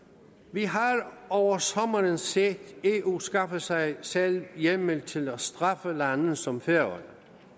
vi har over sommeren set eu skaffe sig selv hjemmel til at straffe lande som færøerne